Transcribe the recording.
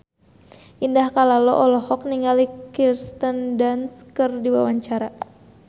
Indah Kalalo olohok ningali Kirsten Dunst keur diwawancara